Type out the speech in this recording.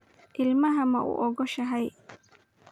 Ilmaha maugogoshey?